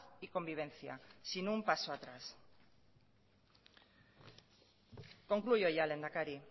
y convivencia sin un paso atrás concluyo ya lehendakari